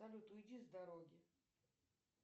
салют уйди с дороги